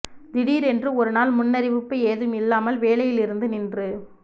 திடீர் என்று ஒரு நாள் முன்னறிவிப்பு ஏதும் இல்லாமல் வேலையிலிருந்து நின்று